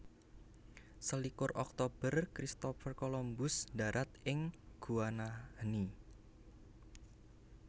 Selikur Oktober Christopher Columbus ndharat ing Guanahani